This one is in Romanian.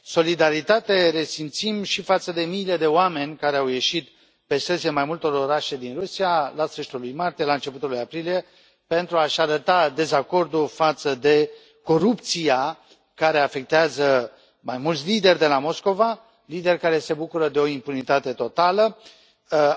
Solidaritate resimțim și față de miile de oameni care au ieșit pe străzile mai multor orașe din Rusia la sfârșitul lui martie, la începutul lui aprilie, pentru a și arăta dezacordul față de corupția care afectează mai mulți lideri de la Moscova, lideri care se bucură de o impunitate totală,